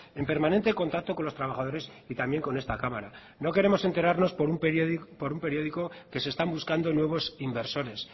en permanente contacto con los trabajadores y también con esta cámara no queremos enterarnos por un periódico que se están buscando nuevos inversores